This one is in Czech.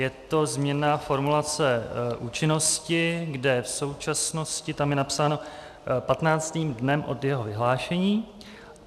Je to změna formulace účinnosti, kde v současnosti tam je napsáno "patnáctým dnem od jeho vyhlášení".